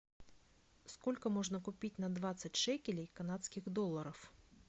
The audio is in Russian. сколько можно купить на двадцать шекелей канадских долларов